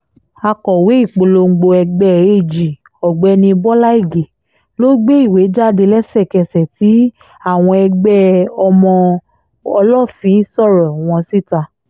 akọ̀wé ìpolongo ẹgbẹ́ ag ọ̀gbẹ́ni bọ́lá ige ló gbé ìwé jáde lẹ́sẹ̀kẹsẹ̀ tí àwọn ẹgbẹ́ ọmọ ọlọ́fín sọ̀rọ̀ wọn síta